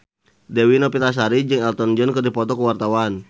Dewi Novitasari jeung Elton John keur dipoto ku wartawan